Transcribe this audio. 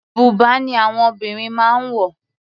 Bùbá ni àwọn obìnrin máa ń wọ̀.